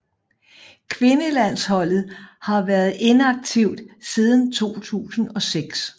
Kvindelandsholdet har været inaktivt siden 2006